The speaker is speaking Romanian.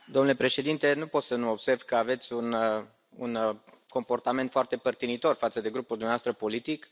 Domnule președinte, nu pot să nu observ că aveți un comportament foarte părtinitor față de grupul dumneavoastră politic.